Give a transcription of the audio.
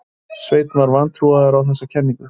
Svenni var vantrúaður á þessa kenningu.